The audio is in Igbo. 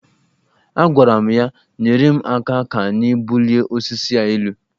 Agwara m ya, nyere m aka ka anyị bulie osisi a elu